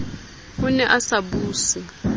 o ne a sa buse